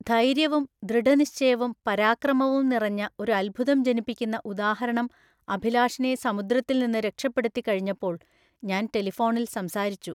ധൈര്യവും ദൃഢനിശ്ചയവും പരാക്രമവും നിറഞ്ഞ ഒരു അദ്ഭുതം ജനിപ്പിക്കുന്ന ഉദാഹരണം അഭിലാഷിനെ സമുദ്രത്തില്‍ നിന്ന് രക്ഷപ്പെടുത്തിക്കഴിഞ്ഞപ്പോള്‍ ഞാന്‍ ടെലിഫോണില്‍ സംസാരിച്ചു.